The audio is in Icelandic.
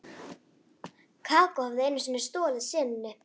Kókó hafði einu sinni stolið senunni.